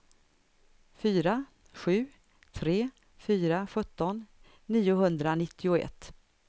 fyra sju tre fyra sjutton niohundranittioett